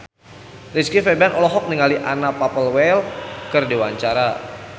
Rizky Febian olohok ningali Anna Popplewell keur diwawancara